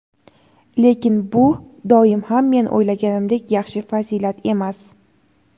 Lekin bu doim ham men o‘ylaganimdek "yaxshi" fazilat emas.